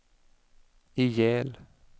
ihjäl